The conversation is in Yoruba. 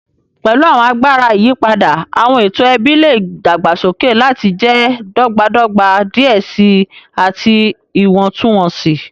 Pẹlu awọn agbara iyipada, awọn eto ẹbi le dagbasoke lati jẹ dọgbadọgba diẹ sii ati iwọntunwọnsi.